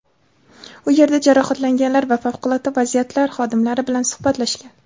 u yerda jarohatlanganlar va favqulodda vaziyatlar xodimlari bilan suhbatlashgan.